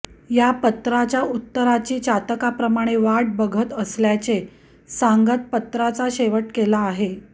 या पत्राच्या उत्तराची चातकाप्रमाणे वाट बघत असल्याचे सांगत पत्राचा शेवट केला आहे